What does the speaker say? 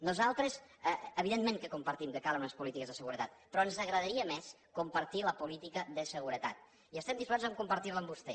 nosaltres evidentment que compartim que calen unes polítiques de seguretat però ens agradaria més compartir la política de seguretat i estem disposats a compartir la amb vostè